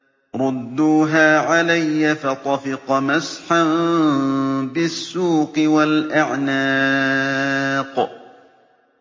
رُدُّوهَا عَلَيَّ ۖ فَطَفِقَ مَسْحًا بِالسُّوقِ وَالْأَعْنَاقِ